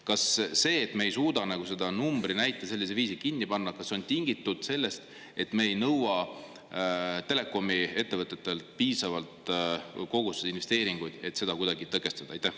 Kas see, et me ei suuda numbrinäite sellisel viisil kinni panna, on tingitud sellest, et me ei nõua telekomiettevõtetelt piisavalt investeeringuid, et seda kuidagi tõkestada?